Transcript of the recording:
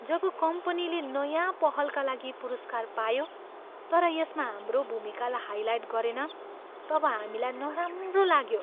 जब कम्पनीले नयाँ पहलका लागि पुरस्कार पायो तर यसमा हाम्रो भूमिकालाई हाइलाइट गरेन तब हामीलाई नराम्रो लाग्यो।